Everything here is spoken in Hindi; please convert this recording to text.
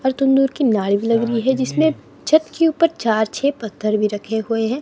भी लग रही है जिसने छत की ऊपर चार छे पत्थर भी रखे हुए हैं।